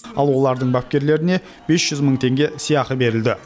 ал олардың бапкерлеріне бес жүз мың теңге сыйақы берілді